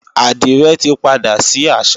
Àdìrẹ tí padà sí àṣà